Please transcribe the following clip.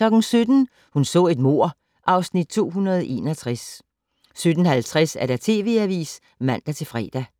17:00: Hun så et mord (Afs. 261) 17:50: TV Avisen (man-fre)